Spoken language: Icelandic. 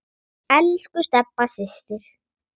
Elsku Stebba systir.